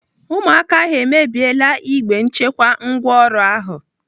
Ụmụaka ahụ emebiela igbe nchekwa ngwaọrụ ahụ.